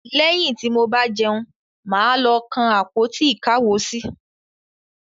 Lẹ́yìn tí mo bá jẹun, mà á lọ kan àpótí-ìkáwosí.